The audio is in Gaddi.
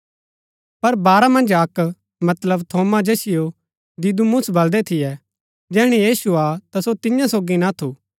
पर बारह मन्ज अक्क मतलब थोमा जैसियो दिदुमुस बलदै थियै जैहणै यीशु आ थू ता सो तियां सोगी ना थू